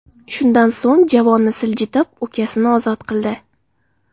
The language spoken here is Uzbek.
Shundan so‘ng javonni siljitib, ukasini ozod qildi.